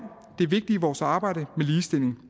det vigtige i vores arbejde med ligestilling